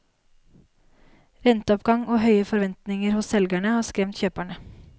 Renteoppgang og høye forventninger hos selgerne har skremt kjøperne.